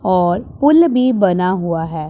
और पूल भी बना हुआ है।